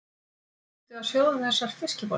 Ertu að sjóða þessar fiskbollur?